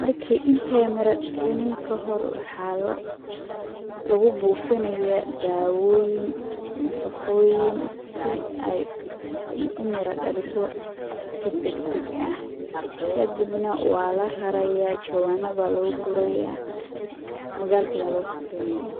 Markii iney mira dhalinin ka hor waxaa la ,lagu bufinayaa daawoyin, nafaqoyin si ay u mira dhaliso si dagdag ah kadibna waa la rarayaa ,jawanna baa lagu gurayaa, magalka baa loo safrinayaa.